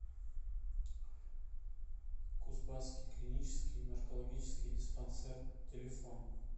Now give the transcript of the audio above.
кузбасский клинический наркологический диспансер телефон